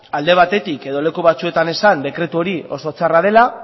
alde batetik edo leku batzuetan esan dekretu hori oso txarra dela